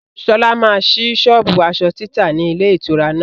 Sọlá máa síí sọ́ọ́bù aṣọ títa ni ilé ìtura náà.